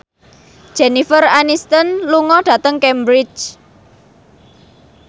Jennifer Aniston lunga dhateng Cambridge